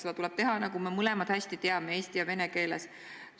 Seda tuleb teha, nagu me mõlemad hästi teame, eesti ja vene keeles.